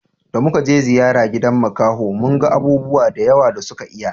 Da muka je ziyara gidan makaho mun ga abubuwa da yawa da suka iya